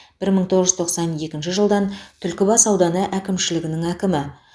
бір мың тоғыз жүз тоқсан екінші жылдан түлкібас ауданы әкімшілігінің әкімі